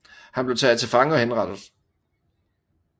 Han blev taget til fange og henrettet